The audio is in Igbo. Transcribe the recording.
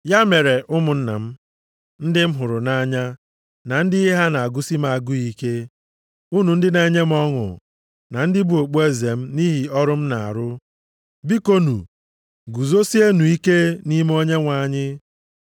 Ya mere, ụmụnna m, ndị m hụrụ nʼanya, na ndị ihe ha na-agụsị m agụụ ike, unu ndị na-enye m ọṅụ, na ndị bụ okpueze m nʼihi ọrụ m na-arụ, bikonu, guzosienụ ike nʼime Onyenwe anyị.